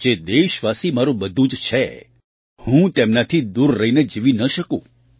જે દેશવાસી મારું બધું જ છે હું તેમનાથી દૂર રહીને જીવી ન શકું